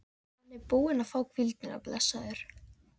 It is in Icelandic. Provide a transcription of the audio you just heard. Hann er búinn að fá hvíldina, blessaður.